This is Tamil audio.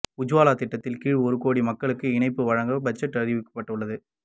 உஜ்வாலா திட்டத்தின் கீழ் ஒரு கோடி மக்களுக்கு இணைப்பு வழங்க பட்ஜெட்டில் அறிவிக்கப்பட்டது